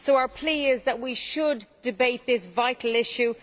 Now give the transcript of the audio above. So our plea is that we should debate this vital issue.